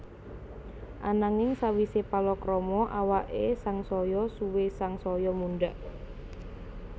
Ananging sawisé palakrama awaké sangsaya suwé sangsaya mundhak